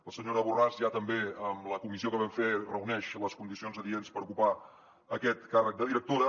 la senyora borràs ja també en la comissió que vam fer reuneix les condicions adients per ocupar aquest càrrec de directora